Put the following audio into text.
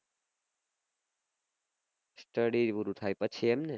study પૂરું થાય પછી એમને